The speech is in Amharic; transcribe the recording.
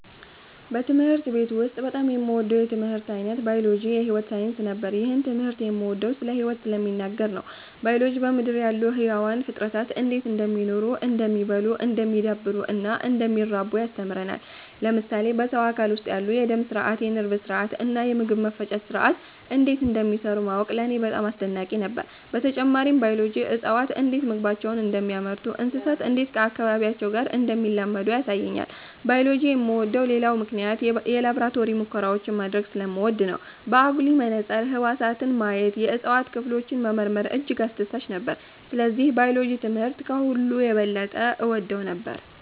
በትምህርት ቤት ውስጥ በጣም የምወደው የትምህርት ዓይነት ባዮሎጂ (የሕይወት ሳይንስ) ነበር። ይህን ትምህርት የምወደው ስለ ሕይወት ስለሚናገር ነው። ባዮሎጂ በምድር ላይ ያሉ ሕያዋን ፍጥረታት እንዴት እንደሚኖሩ፣ እንደሚ� oddሉ፣ እንደሚዳብሩ እና እንደሚራቡ ያስተምረናል። ለምሳሌ በሰው አካል ውስጥ ያሉ የደም ሥርዓት፣ የነርቭ ሥርዓት እና የምግብ መፈጨት ሥርዓት እንዴት እንደሚሠሩ ማወቅ ለእኔ በጣም አስደናቂ ነበር። በተጨማሪም ባዮሎጂ እፅዋት እንዴት ምግባቸውን እንደሚያመርቱ፣ እንስሳት እንዴት ከአካባቢያቸው ጋር እንደሚላመዱ ያሳየኛል። ባዮሎጂ የምወደው ሌላው ምክንያት የላቦራቶሪ ሙከራዎችን ማድረግ ስለምወድ ነው። በአጉሊ መነጽር ህዋሳትን ማየት፣ የእጽዋት ክፍሎችን መመርመር እጅግ አስደሳች ነበር። ስለዚህ ባዮሎጂ ትምህርት ከሁሉ የበለጠ እወደው ነበር።